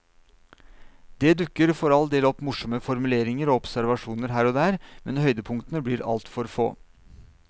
Det dukker for all del opp morsomme formuleringer og observasjoner her og der, men høydepunktene blir altfor få.